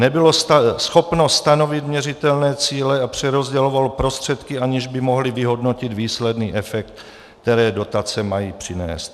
Nebylo schopno stanovit měřitelné cíle a přerozdělovalo prostředky, aniž by mohli vyhodnotit výsledný efekt, které dotace mají přinést.